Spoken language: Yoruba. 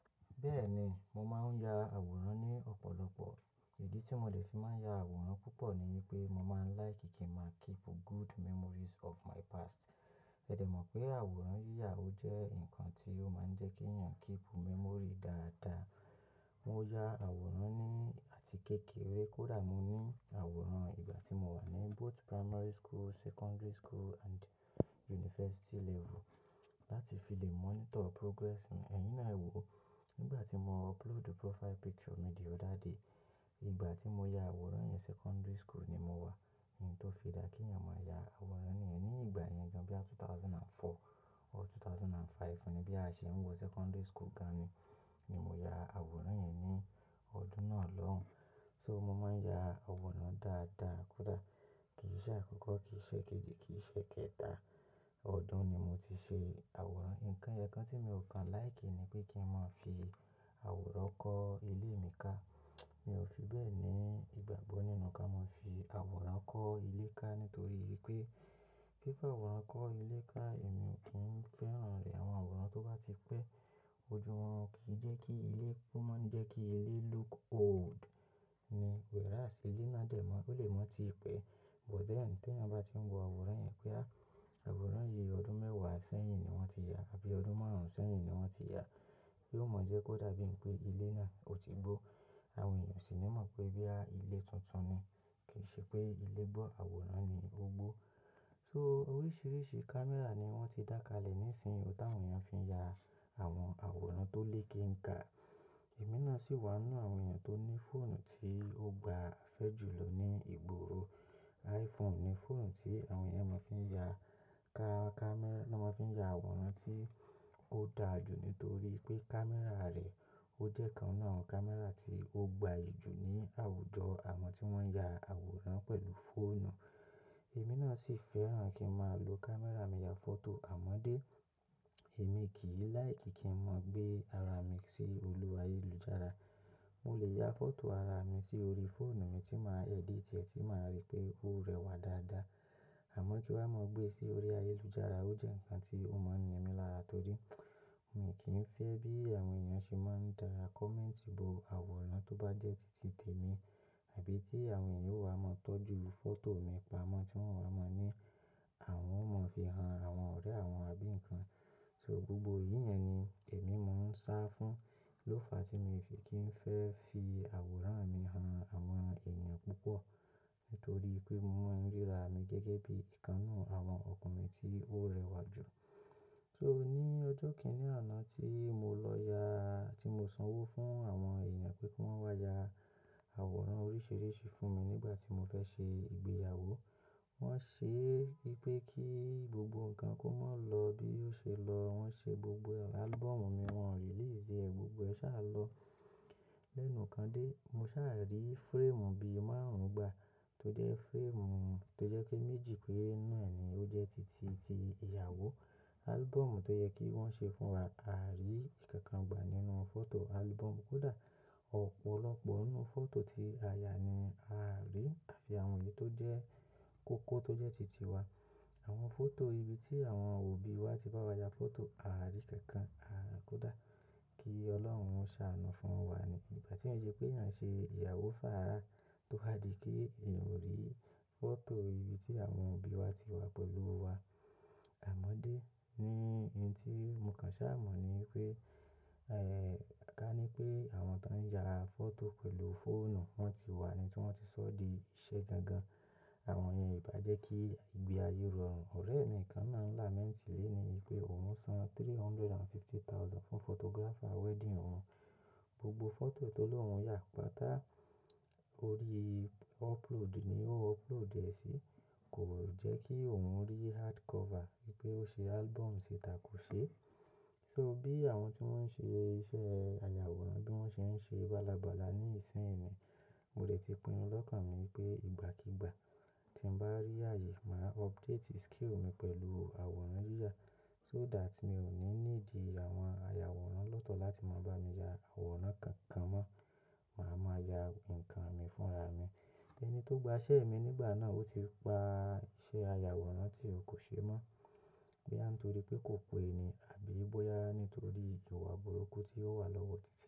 Bẹ́ẹ̀ni, mo máa ń ya àwòrán ní ọ̀pọ̀lọpọ̀. Ìdí tí mo dè fi máa ń ya àwòrán púpọ̀ ni wípé mo máa ń like kí n máa keep good memories of my past. Ẹ̀dẹ̀ mọ̀ pé àwòrán yíyà ó jẹ́ ǹkan tí ó máa ń jẹ́ kí èèyàn keep memory dáadáa. Mo ya àwòrán ní àti kékeré kódà mo ní àwòrán ìgbà tí mo wà ní both primary school, secondary school and university level láti fi lè monitor progress mi. Ẹ̀yin náà wò ó, nígbà tí mo upload profile picture mi the other day, ìgbà tí mo ya àwòrán yẹn secondary school ni mo wà. Nǹkan tó fi dá kí èèyàn máa ya àwòrán nìyẹn. Ní ìgbà yẹn gan bí i ẹgbẹ̀rún méjì ó lé mẹ́rin or ẹgbẹ̀rún méjì ó lé márùn-ún ni bí a ṣe ń wọ secondary school gan ni, ni mo ya àwòrán yẹn ní ọdún náà lọ́hùn. So mo máa ń ya àwòrán dáadáa kódà kì í ṣe àkọ́kọ́, kì í ṣe kejì, kì í ṣe kẹta ọdún ni mo ti ṣe àwòrán. Ìǹkan ẹyo kan tí mi ò kan like ni pé kí n máa fi àwòrán kọ́ ilé mi ká. Mi ò fi bẹ́ẹ̀ ní ìgbàgbọ́ nínú kí a máa fi àwòrán kọ́ ilé ká nítorí wípé, fí fi àwòrán kọ́ ilé ká èmi ò kí ń fẹ́ràn rẹ̀. Àwọn àwòrán tó bá ti pẹ́ ojú wọn kì í jẹ́ kí ilé, ó máa ń jẹ́ kí ilé look old ni whereas ilé náà jẹ́mọ́, ilé náà ti pẹ́ but then tí èèyàn bá ti ń wo àwòrán yẹn pé a, àwòrán yìí ọdún mẹ́wàá sẹ́yìn ni wọ́n ti ya àbí ọdún márùn-ún sẹ́yìn ni wọ́n ti ya, yóò mọ̀ ọ́ pé kódà bí i pé ilé náà o ti gbó, àwọn èèyàn sì ni mọ̀ pé bí i ilé tuntun ni. Kì í ṣe pé ilé gbọ́ àwòrán ni ó gbó. So oríṣiríṣi camera ni wọ́n ti dákàlẹ̀ nísiyin tí àwọn èèyàn fi ń ya àwọn àwòrán tó lè ke ń kà. Èmi náà sì wà nínú àwọn èèyàn tó ní fóònù tí ó gba afẹ́ jù lọ ní ìgboro. iPhone ni fóònù tí àwọn èèyàn máa ń fi ya ka-ka-camera máa ń fi ya àwòrán tí ó da jù nítorí pé camera rẹ̀ ó jẹ́ kan náà àwọn camera tí ó gbayì jù ní àwùjọ àwọ́n tí wọ́n ya àwòrán pẹ̀lú fóònù. Èmi náà sì fẹ́ràn kí n máa lo camera mi ya fọ́tò àmọ́dé. Èmi kì í like kí n máa gbé ara mi sí olú ayélujára. Mo lè ya fọ́tò ara mi sórí fóònù mi tí màá edit, tì máa rí pé ó rẹwà dáadáa. Àmọ́ kí wá máa gbé sí orí ayélujára ó jẹ́ ǹkan tí ó má ń ní mí lára torí mo kì í fẹ́ bí àwọn èèyàn ṣe máa ń dáa comment bò àwòrán tó bá jẹ́ tìtì tèmi àbí tí àwọn èèyàn yóò wá máa tọ́jú fọ́tò mi pamọ́ tí wọ́n wá máa ní àwọn ò mọ̀ fi hàn àwọn ọ̀rẹ́ àwọn àbí ǹkan. So gbogbo yìí yẹn ni èmi mò ń sá fún ló fa tí mi fi kì í fẹ́ fi àwòrán mi hàn àwọn èèyàn púpọ̀ nítorí pé mo mọ ìríra mi gẹ́gẹ́ bí ìkan náà àwọn ọkùnrin tí ó rẹwà jù. So ní ọjọ́ kìíní àná tí mo lọ ya, tí mo sanwó fún àwọn èèyàn pé kí wọ́n wá ya àwòrán oríṣiríṣi fún mi nígbà tí mo fẹ́ ṣe ìgbéyàwó, wọ́n ṣe bí pé kí gbogbo nǹkan kó máa lọ bí ó ṣe lọ. Wọ́n ṣe gbogbo album mi, wọ́n release ẹ, gbogbo ẹ sá lọ lẹ́nu kan dé. Mo sá rí frame bí i márùn-ún gbà tó jẹ́ frame tó jẹ́ pé méjì péré náà ni ó jẹ́ tìtì ti ìyàwó. Album tó yẹ kí wọ́n ṣe fún wa, a rí kánkán gbà nínú fọ́tò album kódà ọ̀pọ̀lọpọ̀ nínú fọ́tò tí a ya ni a rí àfi àwọn yìí tó jẹ́ kókó tó jẹ́ tìtì wa. Àwọn fọ́tò ibi tí àwọn òbí wa ti bá wa ya fọ́tò a rí kánkán, a rí kódà kí Ọlọ́run ṣàánú fún wa ni. Nígbà tí ó ṣe pé à ń ṣe ìyàwó sára tó wá di kí èèyàn o rí fọ́tò ibi tí àwọn òbí wa ti wà pẹ̀lú wa. Àmọ́dé ni ẹni tí mo kàn sá mọ̀ ni pé, eh, ká ní pé àwọn tó ń ya fọ́tò pẹ̀lú fóònù wọ́n ti wà ni tí wọ́n ti sọ́ di iṣẹ́ gan gan. Àwọn èèyàn ìbá jẹ́ kí ìgbé ayé rọrùn. Ọ̀rẹ́ mi kan náà lament lélè ni pé òun san three hundred and fifty thousand fún photographer wedding òun. Gbogbo fọ́tò tó lóhun ya pàtà orí upload ni ó upload ẹ sí. Kò jẹ́ kí òun rí hardcover, pé ó ṣe album sè tà kó ṣe. So bí àwọn tí wọ́n ń ṣe iṣẹ́ ayàwòrán bí wọ́n ṣe ń ṣe bálabàla ní ìsinsìnyí, mo lè ti pinnu lọ́kàn mi pé ìgbàkígbà tí n bá rí ààyè màá update skill mi pẹ̀lú àwòrán yíyà so that mi ò ní ní di àwọn ayàwòrán lọ́tọ̀ láti máa bá mi ya àwòrán kankan mọ́. Màá máa ya ǹkan mi fúnra mi. Ẹni tó gba iṣẹ́ mi nígbà náà ó ti pa iṣẹ́ ayàwòrán tí ò kó ṣe mọ́ bí án torí pé kò pé ni àbí bóyá nítorí ìjò iwa burúkú tí ó wà lọ́wọ́ títí e.